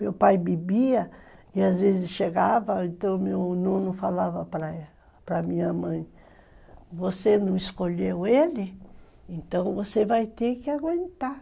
Meu pai bebia e às vezes chegava, então meu nono falava para para minha mãe, você não escolheu ele, então você vai ter que aguentar.